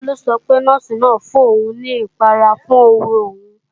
Bólú sọ pé, Nọ́ọ̀sì náà fún òun ní ìpara fún ówo òun